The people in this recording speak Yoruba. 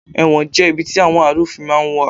Ẹ̀wọ̀n jẹ́ ibi tí àwọn àrúfin máa ń wà